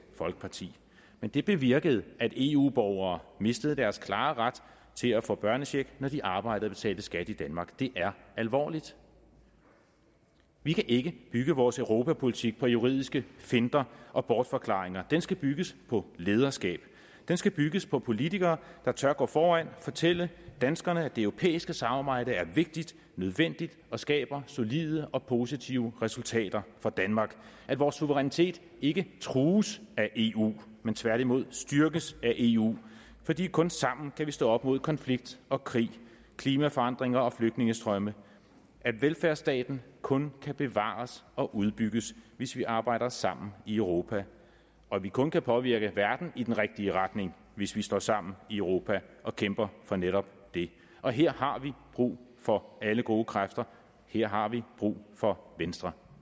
folkeparti men det bevirkede at eu borgere mistede deres klare ret til at få børnecheck når de arbejder og betaler skat i danmark det er alvorligt vi kan ikke bygge vores europapolitik på juridiske finter og bortforklaringer den skal bygges på lederskab den skal bygges på politikere der tør gå foran fortælle danskerne at det europæiske samarbejde er vigtigt nødvendigt og skaber solide og positive resultater for danmark at vores suverænitet ikke trues af eu men tværtimod styrkes af eu fordi vi kun sammen kan stå op mod konflikt og krig klimaforandringer og flygtningestrømme at velfærdsstaten kun kan bevares og udbygges hvis vi arbejder sammen i europa og at vi kun kan påvirke verden i den rigtige retning hvis vi står sammen i europa og kæmper for netop det og her har vi brug for alle gode kræfter her har vi brug for venstre